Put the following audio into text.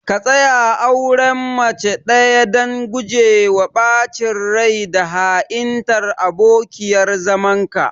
ka tsaya a auren mace ɗaya dan gujewa ɓacin rai da ha'intar abokiyar zamanka.